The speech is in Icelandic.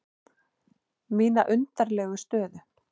Mína undarlegu stöðu.